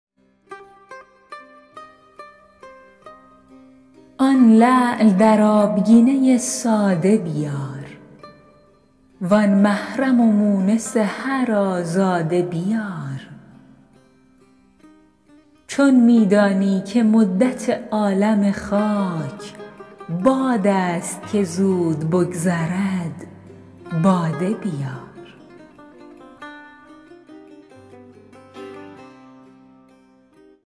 آن لعل در آبگینه ساده بیار وآن محرم و مونس هر آزاده بیار چون می دانی که مدت عالم خاک باد است که زود بگذرد باده بیار